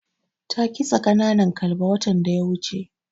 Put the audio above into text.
Ta kitsa ƙananan kalba watan da ya wuce.